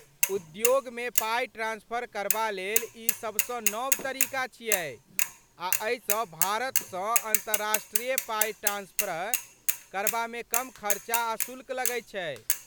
उद्योगमे पाइ ट्रांस्फर करबा लेल ई सभसँ नव तरीका छियै, आ एहिसँ भारतसँ अन्तर्राष्ट्रीय पाइ ट्रांस्फर करबामे कम खर्चा आ शुल्क लगैत छै।